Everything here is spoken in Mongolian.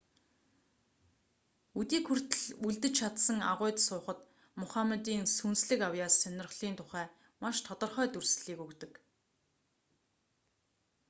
өдийг хүртэл үлдэж чадсан агуйд суухад мухаммадын сүнслэг авьяас сонирхлын тухай маш тодорхой дүрслэлийг өгдөг